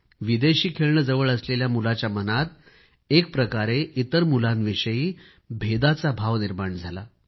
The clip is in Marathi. विदेशी खेळणे जवळ असलेल्या मुलाच्या मनात एक प्रकारे इतर मुलांविषयी भेदाचा भाव निर्माण झाला